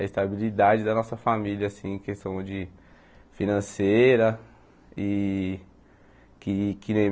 A estabilidade da nossa família assim em questão de financeira e que que nem.